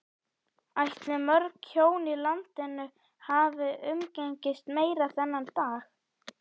Ætli mörg hjón í landinu hafi umgengist meira þennan dag?